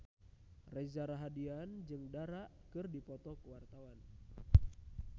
Reza Rahardian jeung Dara keur dipoto ku wartawan